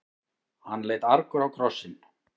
Hann leit argur á krossinn.